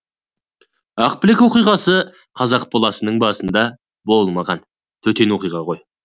ақбілек оқиғасы қазақ баласының басында болмаған төтен оқиға ғой